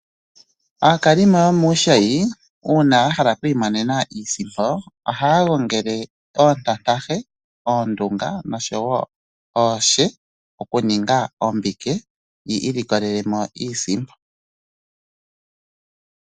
Aakalimo yomuushayi uuna ya hala okwiimonena iisimpo, ohaya gongele oontantahe, oondunga noshowo ooshe okuninga ombike yi ilikolele mo iisimpo.